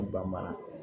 Ba mara